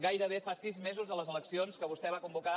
gairebé fa sis mesos de les eleccions que vostè va convocar